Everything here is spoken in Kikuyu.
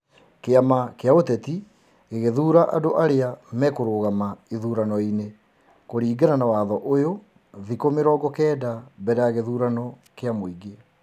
kĩama kĩa ũteti gĩgũthura andũ arĩa mekũrũgama ithurano-inĩ kũringana na watho ũyũ thikũ mĩrongo kenda mbere ya gĩthurano kĩa mũingĩ.